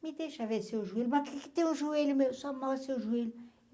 Me deixa ver seu joelho, mas o que é que tem o joelho meu, só mostra seu joelho.